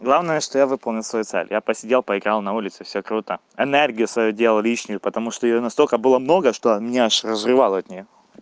главное что я выполнил свою цель я посидел поиграл на улице всё круто энергию свою дел лишнию потому что её настолько было много что меня разрывало от неё